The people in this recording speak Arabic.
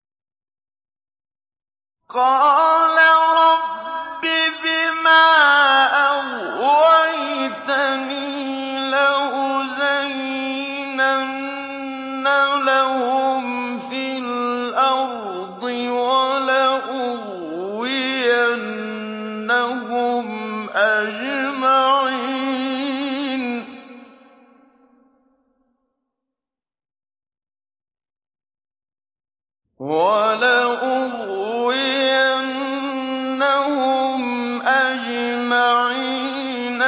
قَالَ رَبِّ بِمَا أَغْوَيْتَنِي لَأُزَيِّنَنَّ لَهُمْ فِي الْأَرْضِ وَلَأُغْوِيَنَّهُمْ أَجْمَعِينَ